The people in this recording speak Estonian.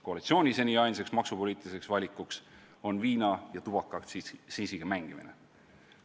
Koalitsiooni seni ainsaks maksupoliitiliseks valikuks on viina- ja tubakaaktsiisiga mängimine.